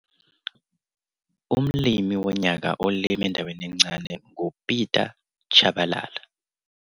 Small holder_winner_IMG_9735- Umlimi Wonyaka Olima Endaweni Encane nguPieter Chabalala.